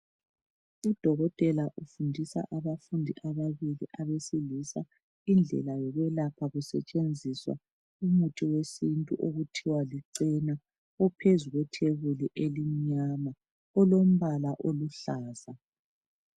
udokotela ufundisa abafundi ababili abesilisa indlela yokwelapha kusetshenziswa umuthi wesintu okuthiwa lichena ophezu kwethebuli elimnyama olombala oluhlaza.